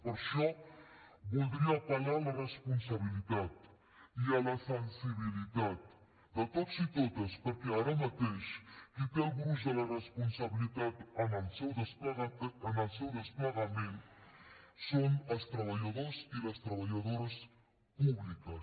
per això voldria apel·lar a la responsabilitat i a la sensibilitat de tots i totes perquè ara mateix qui té el gruix de la responsabilitat en el seu desplegament són els treballadors i les treballadores públiques